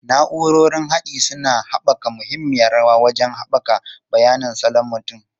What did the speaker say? Na'urorin haɗi suna taka muhimmiyar rawa wajen haɓaka bayanin salon mutum.